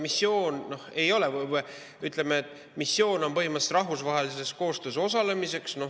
Missioon on põhimõtteliselt rahvusvahelises koostöös osalemiseks.